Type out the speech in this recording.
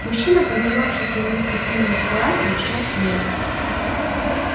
мужчина поднимавшийся вместе с ним на эскалаторе шёл следом